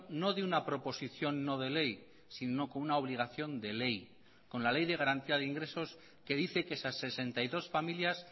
no de una proposición no de ley sino con una obligación de ley con la ley de garantía de ingresos que dice que esas sesenta y dos familias